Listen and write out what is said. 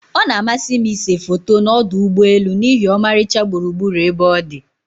Ọ na-amasị m ịse foto na ọdụ ụgbọelu n'ihi ọmarịcha gburugburu ebe ọdi.